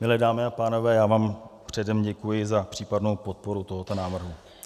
Milé dámy a pánové, já vám předem děkuji za případnou podporu tohoto návrhu.